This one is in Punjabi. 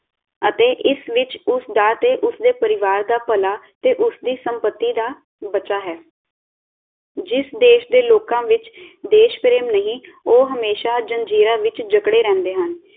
ਅਤੇ ਇਸ ਵਿਚ ਉਸਦਾ ਤੇ ਉਸਦੇ ਪਰਿਵਾਰ ਦਾ ਭਲਾ ਤੇ ਉਸਦੀ ਸੰਪਤੀ ਦਾ ਬਚਾ ਹੈ ਜਿਸ ਦੇਸ਼ ਦੇ ਲੋਕਾਂ ਵਿਚ ਦੇਸ਼ਪਰੇਮ ਨਹੀਂ ਉਹ ਹਮੇਸ਼ਾ ਜੰਜੀਰਾਂ ਵਿਚ ਜਕੜੇ ਰਹਿੰਦੇ ਹਨ